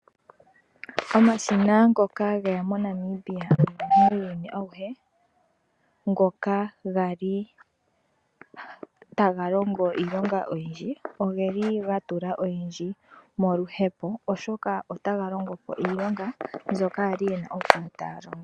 Omashina ngoka geya moNamibia nomuuyuni awuhe ngoka gali taga longo iilonga oyindji ogeli gatula oyindji moluhepo oshoka otaga longo po iilonga mbyoka kwali yena okukala taya longo.